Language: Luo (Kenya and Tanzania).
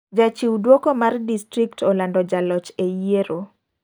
Jachiw duoko mar disrikt olando jaloch e yiero.